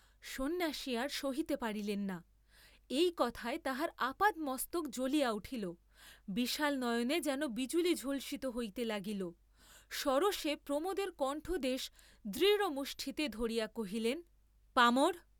সন্ন্যাসী আর সহিতে পারিলেন না, এই কথায় তাঁহার আপাদমস্তক জ্বলিয়া উঠিল, বিশাল নয়নে যেন বিজুলি ঝলসিত হইতে লাগিল, সরোষে প্রমোদের কণ্ঠদেশ দৃঢ়মুষ্টিতে ধরিয়া কহিলেন, পামর!